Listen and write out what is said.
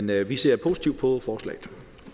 det vi ser positivt på forslaget